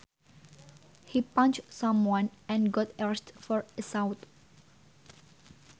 He punched someone and got arrested for assault